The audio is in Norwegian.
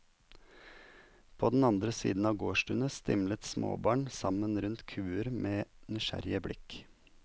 På den andre siden av gårdstunet stimlet småbarn sammen rundt kuer med nysgjerrige blikk.